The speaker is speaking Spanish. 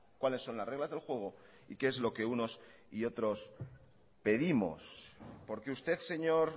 cuáles son las reglas del juego y qué es lo que unos y otros pedimos porque usted señor